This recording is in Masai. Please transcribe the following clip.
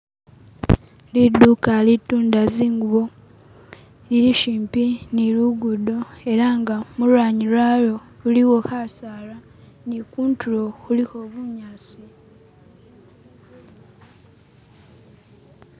Liduka litunda zingubo lili shipi ni lugudo elanga mulwanyi lwayo khulikho kasaara ni khundiro khulikho bunyasi